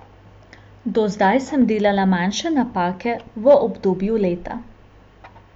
Do zdaj sem delala manjše napake v obdobju leta.